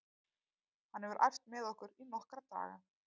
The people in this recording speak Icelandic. Hann hefur æft með okkur í nokkra daga.